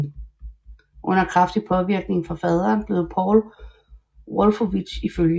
Under kraftig påvirkning fra faderen blev Paul Wolfowitz iflg